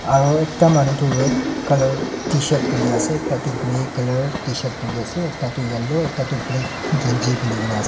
aro ekta manu toh red colour tshirt piniase ekta toh grey colour tshirt piniase ekta toh yellow ekta toh black kanchi pinikena ase.